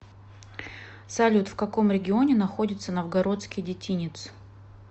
салют в каком регионе находится новгородский детинец